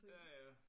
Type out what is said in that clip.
Ja ja